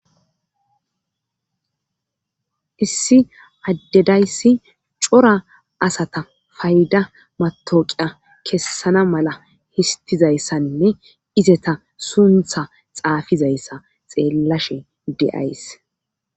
issi addedayssi cora asata fayda matoqiya kessana mala histizayssaninne izeta suntha xaafizayssa xeellashe de7ays